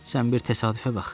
Sən bir təsadüfə bax.